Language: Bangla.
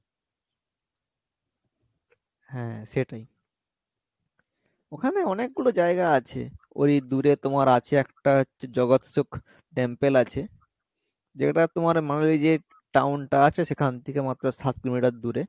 হ্যাঁ সেটাই ওখানে অনেক গুলো জায়গা আছে ওই দূরে তোমার আছে একটা হচ্ছে জগৎসুক temple আছে যেটা তোমার Manali যে town টা আছে সেখান থেকে মাত্র সাত কিলোমিটার দূরে